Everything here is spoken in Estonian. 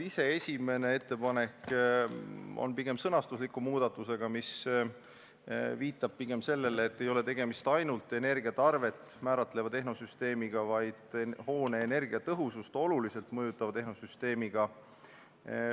Esimene ettepanek on pigem sõnastuslik muudatus, mis viitab sellele, et tegemist ei ole ainult energiatarvet määratleva tehnosüsteemiga, vaid hoone energiatõhusust oluliselt mõjutava tehnosüsteemiga.